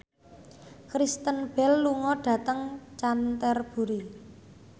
Kristen Bell lunga dhateng Canterbury